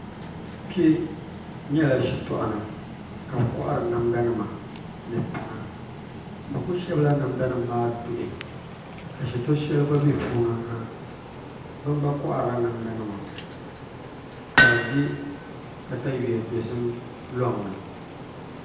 Kpɛ nyɛla shitɔɣu ni ka bi kohari namda nima ni tana bi ku shɛbila namda nima maa duhi ka shito shɛli gba bɛ puuni ha bin gba koharila namda nima ka di bɛ katawiya dozim loŋni